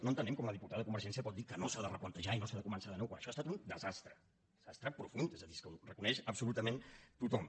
no entenem com la diputada de convergència pot dir que no s’ha de replantejar i no s’ha de començar de nou quan això ha estat un desastre un desastre profund és a dir és que ho reconeix absolutament tothom